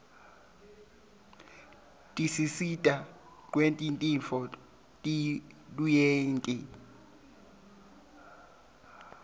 tisisita rreqetintfo letiruyenti